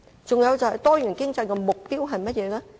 再者，多元經濟的目標是甚麼？